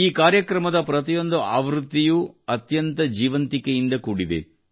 ಈ ಕಾರ್ಯಕ್ರಮದ ಪ್ರತಿಯೊಂದು ಆವೃತ್ತಿಯೂ ಅತ್ಯಂತ ಜೀವಂತಿಕೆಯಿಂದ ಕೂಡಿದೆ